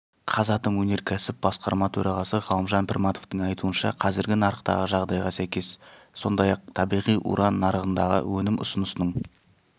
қазатом өнеркәсіп басқарма төрағасы ғалымжан пірматовтың айтуынша қазіргі нарықтағы жағдайға сәйкес сондай-ақ табиғи уран нарығындағы өнім ұсынысының